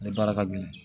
Ale baara ka gɛlɛn